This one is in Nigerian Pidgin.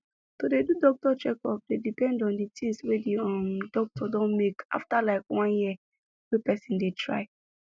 to dey do doctor checkup dey depend on the things wey the um doctor don make after like one year year wey person dey try